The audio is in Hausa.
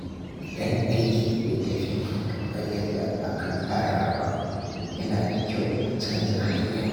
idan aiki bai tafi kamar yadda aka tsara ba, yana da kyau a canza hanya.